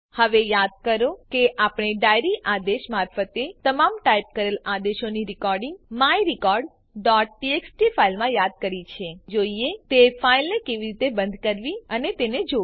હવે યાદ કરો કે આપણે ડાયરી આદેશ મારફતે તમામ ટાઈપ કરેલ આદેશોની રેકોર્ડીંગ myrecordટીએક્સટી ફાઈલમાં યાદ કરી છે હવે ચાલો જોઈએ તે ફાઈલને કેવી રીતે બંધ કરવી અને તેને જોવી